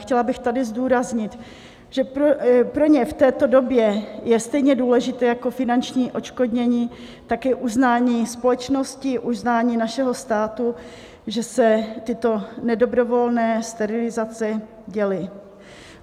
Chtěla bych tady zdůraznit, že pro ně v této době je stejně důležité jako finanční odškodnění také uznání společnosti, uznání našeho státu, že se tyto nedobrovolné sterilizace děly.